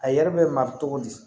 A yɛrɛ bɛ ma cogo di